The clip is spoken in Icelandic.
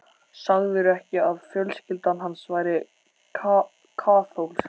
Sagðirðu ekki að fjölskyldan hans væri kaþólsk?